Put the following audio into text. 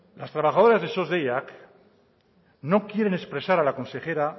las trabajadoras de sos deiak no quieren expresar a la consejera